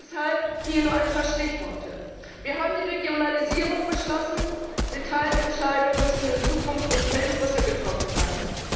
Deshalb hier nur ein paar Stichworte Wir haben die Regionalisierung beschlossen, Detailentscheidungen müssen in Zukunft nicht mehr in Brüssel getroffen werden.